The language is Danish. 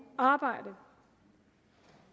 arbejde